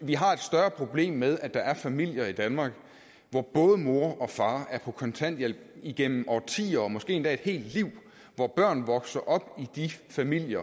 vi har et større problem med at der er familier i danmark hvor både mor og far er på kontanthjælp igennem årtier og måske endda et helt liv og hvor børn vokser op i de familier